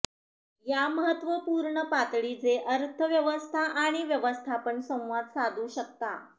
या महत्त्वपूर्ण पातळी जे अर्थव्यवस्था आणि व्यवस्थापन संवाद साधू शकता